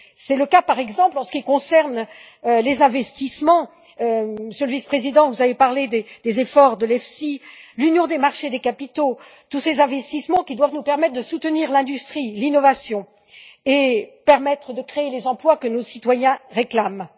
C'est le cas, par exemple, en ce qui concerne les investissements Monsieur le Vice président, vous avez parlé des efforts de l'EFSI, l'union des marchés des capitaux, tous ces investissements qui doivent nous permettre de soutenir l'industrie et l'innovation et de créer les emplois que nos citoyens réclament.